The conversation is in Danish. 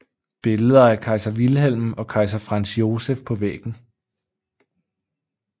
Billeder af kejser Wilhelm og kejser Franz Joseph på væggen